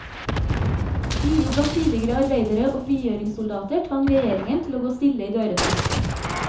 Uro blant tidligere arbeidere og frigjøringssoldater tvang regjeringen til å gå stille i dørene.